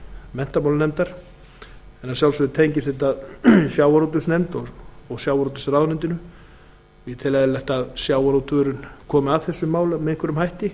menntamálanefndar en að sjálfsögðu tengist þetta sjávarútvegsnefnd og sjávarútvegsráðuneytinu og ég tel eðlilegt að sjávarútvegurinn komi að þessu máli með einhverjum hætti